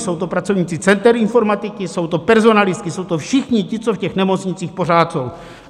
Jsou to pracovníci center informatiky, jsou to personalisté, jsou to všichni ti, co v těch nemocnicích pořád jsou.